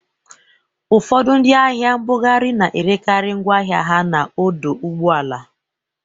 Ụfọdụ ndị ahịa nbughari na-erekarị ngwọ ahịa ha n'ọdọ ụgbọala